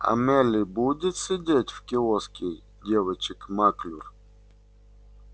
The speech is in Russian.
а мелли будет сидеть в киоске девочек маклюр